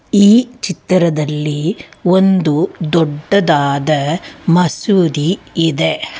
ಈ ಚಿತ್ರದಲ್ಲಿ ಒಂದು ದೊಡ್ಡದಾದ ಮಸೂದಿ ಇದೆ.